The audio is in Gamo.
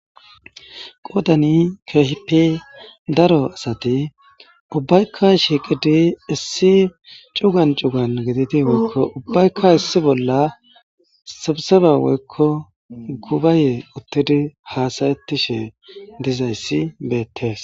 Qoodani keehippe daro asathi ubbaykka shiiqidi issi cugan cugan gididi woykko ubbaykka issi bolla sibsebaa woykko gubayee uththidi haasayeththishe dizayssi beeththees.